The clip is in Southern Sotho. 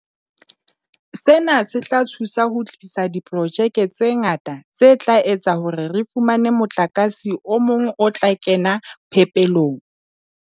Sena se tla thusa ho tlisa diprojeke tse ngata tse tla etsa hore re fumane motlakase o mong o tla kena phepelong.